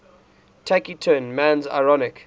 taciturn man's ironic